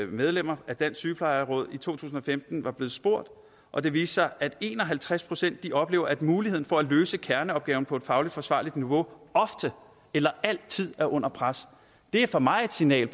medlemmer af dansk sygeplejeråd i to tusind og femten var blevet spurgt og det viste sig at en og halvtreds procent oplever at muligheden for at løse kerneopgaven på et faglig forsvarligt niveau ofte eller altid er under pres det er for mig et signal